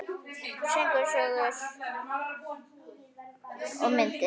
Söngur, sögur og myndir.